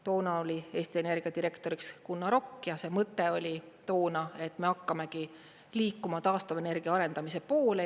Toona oli Eesti Energia direktoriks Gunnar Okk ja see mõte oli toona, et me hakkamegi liikuma taastuvenergia arendamise poole.